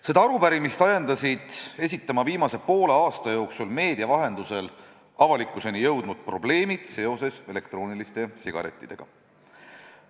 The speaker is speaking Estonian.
Seda arupärimist ajendasid esitama viimase poole aasta jooksul meedia vahendusel avalikkuseni jõudnud probleemid seoses elektrooniliste sigarettidega.